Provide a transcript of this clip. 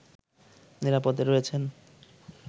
নিরাপদে রয়েছেন